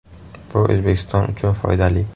Bu O‘zbekiston uchun foydali.